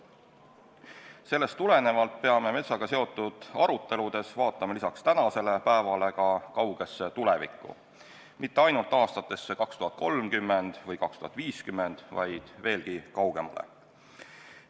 Sellest tulenevalt peame metsaga seotud aruteludes vaatama lisaks tänasele päevale ka kaugesse tulevikku – mitte ainult aastatesse 2030 või 2050, vaid veelgi kaugemale.